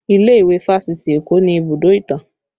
Ilé ìwé fásitì Eko ni ibùdó ìtàn